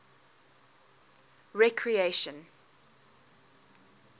recreation